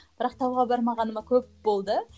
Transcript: бірақ тауға бармағаныма көп болды